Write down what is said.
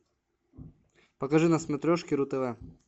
покажи на смотрешке ру тв